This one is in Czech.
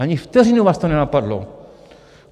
Ani vteřinu vás to nenapadlo.